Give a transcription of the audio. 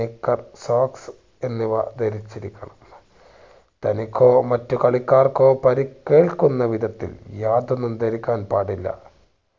knicker, socks എന്നിവ ധരിച്ചിരിക്കണം തനിക്കോ മറ്റ് കളിക്കാർക്കോ പരിക്കേൽക്കുന്ന വിധത്തിൽ യാതൊന്നും ധരിക്കാൻ പാടില്ല